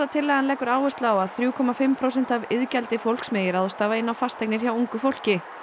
tillagan leggur áherslu á að þrjú komma fimm prósenta af iðgjaldi fólks megi ráðstafa inn á fasteignir hjá ungu fólki